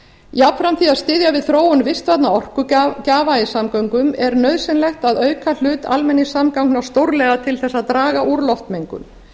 jafnframt því að styðja við þróun vistvænna orkugjafa í samgöngum er nauðsynlegt að auka hlut almenningssamgangna stórlega til að draga úr loftmengun